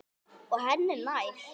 Og henni er nær.